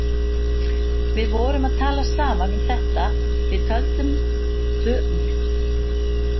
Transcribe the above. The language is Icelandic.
Við vorum að tala saman um þetta, við tölum saman um allt við mamma.